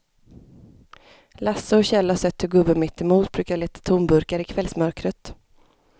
Lasse och Kjell har sett hur gubben mittemot brukar leta tomburkar i kvällsmörkret.